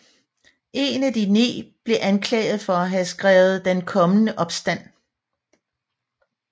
En af de ni blev anklaget for at have skrevet Den kommende opstand